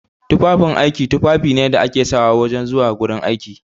Tufafin aiki tufafi ne da ake sawa zuwa gurin aiki.